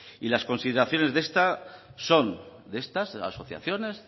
y las consideraciones de esta son de estas asociaciones